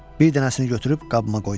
Bir dənəsini götürüb qabıma qoydum.